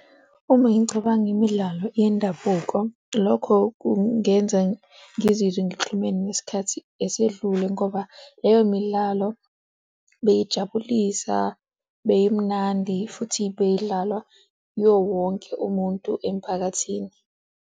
Uma ngingacabanga imidlalo yendabuko, lokho kungenza ngizizwe ngixhumene nesikhathi esedlule ngoba leyo midlalo beyijabulisa, beyimnandi futhi beyidlalwa iwowonke umuntu emphakathini.